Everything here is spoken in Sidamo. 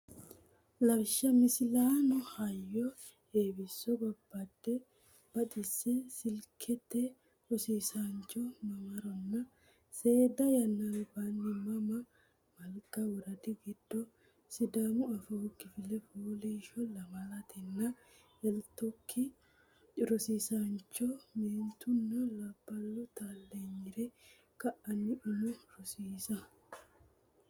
Lawishsha Misilaano Heyyo Heewiso Baabbe Baxise siiviksete Rosiisaancho Mamaronna Seeda yanna albaanni Mama Malga Woradi giddo Sidaamu Afoo Kifile Fooliishsho Lamala etnaa etotikkI Rosiisaancho meentunna labballu taalleenyire kaina Umo rosiisa.